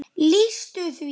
lýstu því?